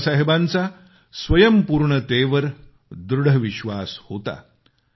बाबासाहेबांचा स्वयंपुर्णतेवर दृढ विश्वास होता